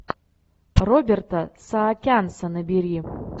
роберта саакянца набери